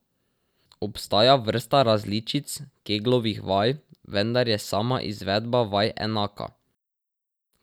Obstaja vrsta različic Keglovih vaj, vendar je sama izvedba vaj enaka.